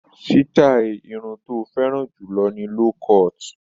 Sítáì irun tó fẹ́ràn jù lọ ni low cut.